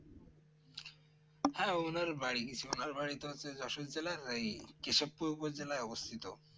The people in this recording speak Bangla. হ্যাঁ ওনার বাড়ি গেছি ওনার বাড়ি তো হচ্ছে যশোর জেলার এই কেশব পূর্ব জেলায় অবস্থিত